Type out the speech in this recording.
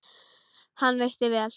Hann veitti vel